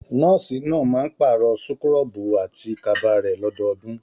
Nọ́ọ̀sì náà máa n paarọ súkúrọbuù àti kaba rẹ lọdọọdun.